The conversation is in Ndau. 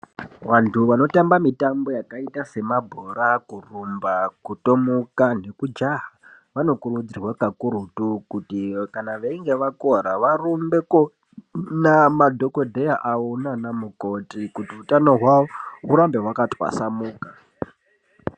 Antu vanotamba mitambo yakaita semabhora, kurumba, kutomuka nekujaha vanokurudzirwa kakurutu kuti kana vachinge vakuvara varumbe koona madhokodheya avo nana mukoti kuti hutano hwavo urambe hwakatwasanuka .